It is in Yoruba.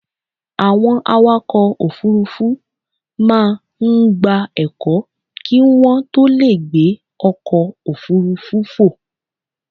Àwọn awakọ̀ òfurufú máa ń gba ẹ̀kọ́ kí wọ́n tó lè gbé ọkọ̀ òfurufú fò.